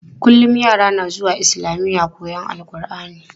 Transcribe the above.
Kullum yara na zuwa islamiya koyon AlƘurʼani.